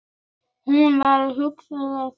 Hún var huguð og sterk.